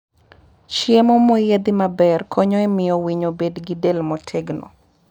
Chiemo moyiedhi maber konyo e miyo winy obed gi del motegno.